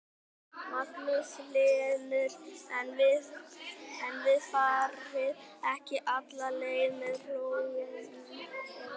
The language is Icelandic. Magnús Hlynur: En þið farið ekki alla leið með plóginn eða hvað?